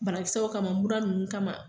Banakisɛw kama mura nunnu kama.